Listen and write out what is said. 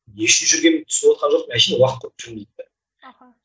не үшін жүргенін түсініватқан жоқпын әшейін уақыт өткізіп жүрмін дейді де аха